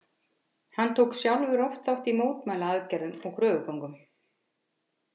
Hann tók sjálfur oft þátt í mótmælaaðgerðum og kröfugöngum.